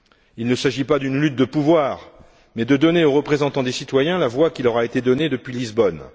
Il ne s'agit pas d'une lutte de pouvoir, mais de donner aux représentants des citoyens la voix qui leur a été donnée depuis Lisbonne.